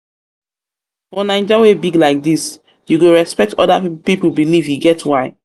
for naija wey big like dis you go respect oda pipo belief e get why.